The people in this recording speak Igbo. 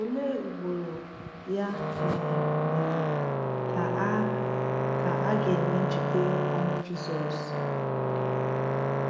Olee ugboro, ya um mere, ka a ka a ga-eme ncheta ọnwụ Jisọs?